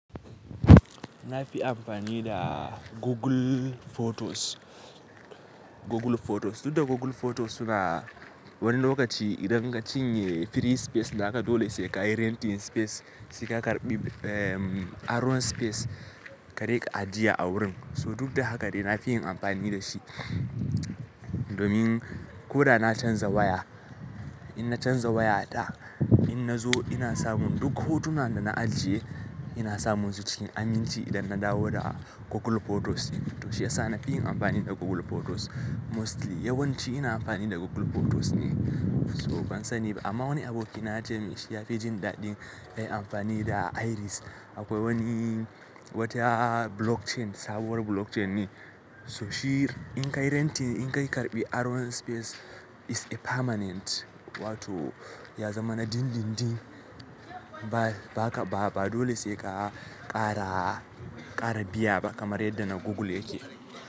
Na fi amfani da Google Photos. Google Photos. Duk da Google Photos suna wani lokaci idan ka cinye free space, haka dole sai ka yi renting space sai ka karɓi, eh, aron space ka riƙa ajiye a wurin. So duk da haka dai na fi yin amfani da shi. Domin ko da na canza waya, in na canza waya ɗaya, in na zo ina samun duk hotuna da na ajiye ina samun su cikin aminci idan na dawo da Google Photos. To shiyasa na fi yin amfani da Google Photos mostly yawanci ina amfani da Google Photos ne. So ban sani ba amma wani aboki na ya ce min shi ya fi jin daɗin yayi amfani da Iris. Akwai wani wata blockchain sabuwar blockchain ne. So shi in kai renting in kai karɓi aron space is a permanent wato ya zama na dindindin. Ba, ba haka ba, ba dole sai ka ƙara, ƙara biya ba kamar yadda na Google yake.